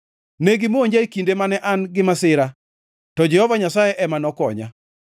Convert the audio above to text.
Negimonja e kinde mane an gi masira, to Jehova Nyasaye ema nokonya.